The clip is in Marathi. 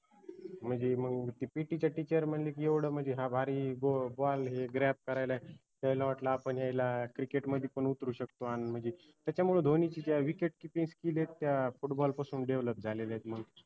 म्हनजे मंग ते PT च teacher म्हनली की, येवढं म्हनजे हा भारी ball हे करायला त्यायला वाटलं आपन यायला cricket मदि पन उतरू शकतो आन म्हनजी त्याच्यामुळे धोनीची त्या wicketkeepingskill ए त्या football पासून develop झालेल्यात मग